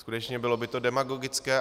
Skutečně, bylo by to demagogické.